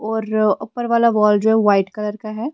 और ऊपर वाला वॉल जो है वाइट कलर का है।